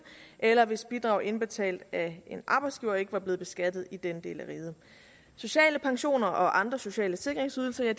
eller hvis bidrag indbetalt af en arbejdsgiver ikke er blevet beskattet i denne del af riget sociale pensioner og andre sociale sikringsydelser er